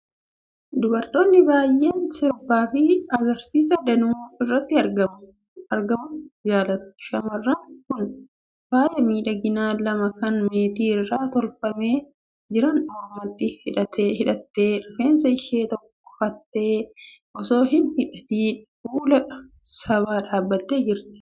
Dubartoonni baay'een sirbaa fi agarsiisa danuu irratti argamuu jaalatu. Shamarreen kun faaya miidhaginaa lama kan meetii irraa tolfamanii jiran mormatti godhattee, rifeensa ishii tokkofattee osoo hin hidhatiin fuula sabaa dhaabattee jirti.